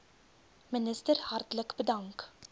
minister hartlik bedank